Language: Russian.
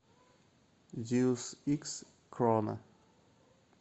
зеус икс крона